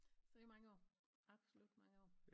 Så i mange år absolut mange år